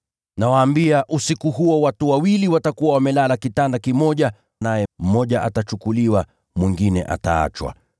Nawaambia, usiku huo watu wawili watakuwa wamelala kitanda kimoja; naye mmoja atatwaliwa na mwingine ataachwa.